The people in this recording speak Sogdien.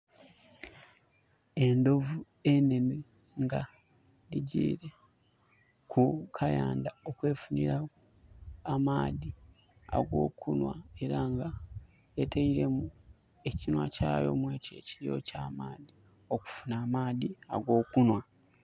Endhovu enhenhe nga egyiire ku kayandha okwefunhira ku maadhi ag'okunhwa era nga etailemu ekinhwa kyayo mu ekyo ekiyiriro kya maadhi, okufunha amaadhi ag'okunhwa.